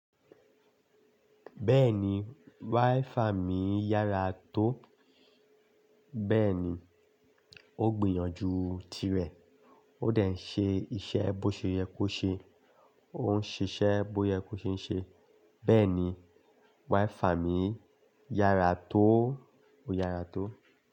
Bẹ́ẹ̀ni, WiFi mi yára tó. Bẹ́ẹ̀ni, ó gbìyànjú tirẹ̀, ó dẹ̀ ń ṣe iṣẹ́ bó ṣe yẹ kó ṣe, ó ń ṣe iṣẹ́ bó yẹ kó ṣe ń ṣe. Bẹ́ẹ̀ni, wáífà mi yára tó, ó yára tó.